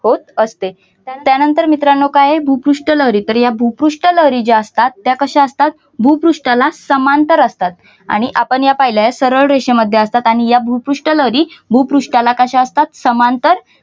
होत असते त्यानंतर मित्रांनो काय आहे भूपृष्ट लहरी तर या भूपृष्टलहरीज्या असतात त्या कशा असतात त्याला समांतर असतात आणि आपण ह्या पाहिले आहे थररेसम मध्ये असतात आणि या भूपृष्ट लहरी भूपृष्ठाला कशा असतात समांतर